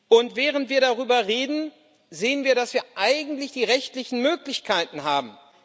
Und während wir darüber reden, sehen wir, dass wir eigentlich die rechtlichen Möglichkeiten haben.